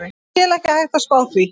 Ég tel ekki hægt að spá því.